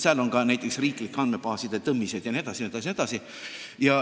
Seal on ka näiteks riiklike andmebaaside tõmmised jne.